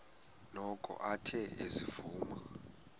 noko athe ezivuma